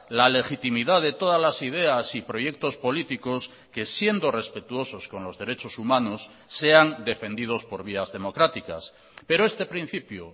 la legitimidad de todas las ideas y proyectos políticos que siendo respetuosos con los derechos humanos sean defendidos por vías democráticas pero este principio